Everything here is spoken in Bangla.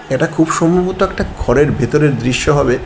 এটা খুব সম্ভবত একটা ঘরের ভেতরের দৃশ্য হবে।